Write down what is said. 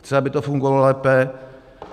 Chci, aby to fungovalo lépe.